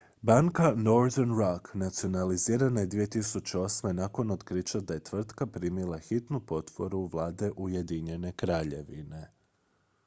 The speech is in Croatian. banka northern rock nacionalizirana je 2008. nakon otkrića da je tvrtka primila hitnu potporu vlade ujedinjene kraljevine